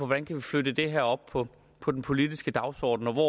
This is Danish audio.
man kan flytte det her op på på den politiske dagsorden og hvor